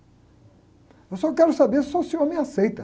Eu só quero saber se o senhor me aceita.